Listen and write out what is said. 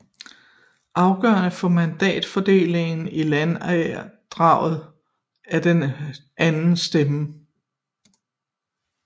Afgørende for mandatfordelingen i landdagen er den anden stemme